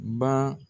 Ba